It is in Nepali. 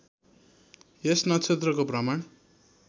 यस नक्षत्रको भ्रमण